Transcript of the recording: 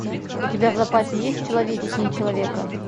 у тебя в запасе есть человечнее человека